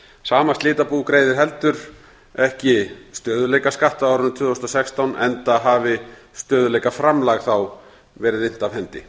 sama slitabú greiðir heldur ekki stöðugleikaskatt á árinu tvö þúsund og sextán enda hafi stöðugleikaframlag þá verið innt af hendi